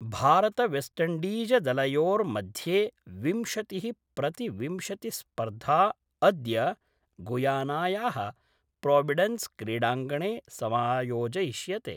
भारतवेस्टइण्डीजदलयोर्मध्ये विंशतिः प्रति विंशतिस्पर्धा अद्य गुयानाया: प्रोविडेन्स क्रीडांगणे समायोजयिष्यते।